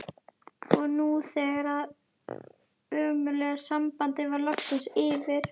Og nú þegar það ömurlega samband var loksins yfir